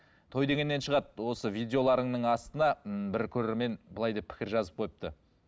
той дегеннен шығады осы видеоларыңның астына ммм бір көрермен былай деп пікір жазып қойыпты